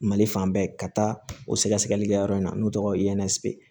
Mali fan bɛɛ ka taa o sɛgɛsɛgɛli kɛ yɔrɔ in na n'o tɔgɔ ye iyɛnɛsi bɛ ye